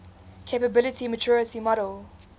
capability maturity model